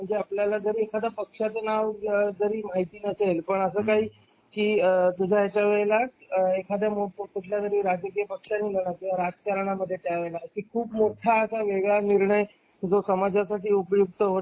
आपल्याला जर एखाद्या पक्षाचे नाव जरी माहिती नसेल असं काही की वेळेला एखाद्या वेळेला कुठल्या तरी राजकीय पक्षाने किंवा राजकारणा मध्ये त्यावेळेला खूप मोठं असा वेगळा निर्णय जो समाजासाठी उपयुक्त ठरेल.